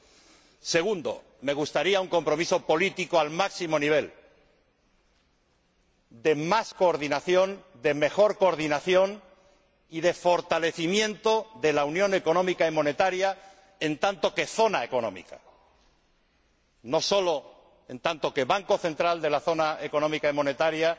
En segundo lugar, me gustaría que se acuerde un compromiso político al máximo nivel, de más coordinación, de mejor coordinación y de fortalecimiento de la Unión Económica y Monetaria como zona económica, no solo como banco central de la zona económica y monetaria,